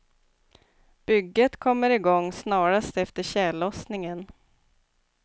Bygget kommer igång snarast efter tjällossningen.